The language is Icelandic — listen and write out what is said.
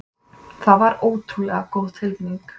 Það var ótrúlega góð tilfinning.